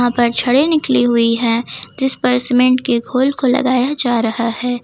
पर छडे निकली हुई है जिसमें सीमेंट के घोल को लगाया जा रहा है।